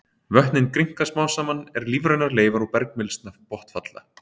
Vötnin grynnka smám saman er lífrænar leifar og bergmylsna botnfalla.